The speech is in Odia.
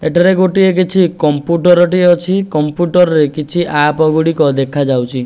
ଏଠାରେ ଗୋଟିଏ କିଛି କମ୍ପୁଟର ଟିଏ ଅଛି କମ୍ପୁଟରରେ କିଛି ଆପ୍ ଗୁଡ଼ିକ ଦେଖି ଯାଉଛି।